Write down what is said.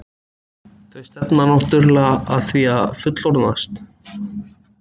Þau stefna náttúrulega að því að fullorðnast.